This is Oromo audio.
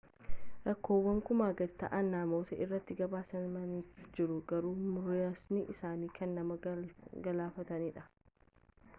rakkoowwan kumaa gadi ta'an namoota irratti gabaasamanii jiru garuu muraasni isaanii kan nama galaafatanidha